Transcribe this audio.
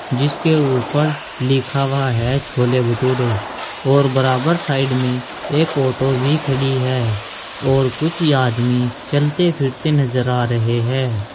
जिसके ऊपर लिखा हुआ है छोले भटूरे और बराबर साइड में एक ऑटो भी खड़ी है और कुछ आदमी चलते फिरते नजर आ रहे हैं।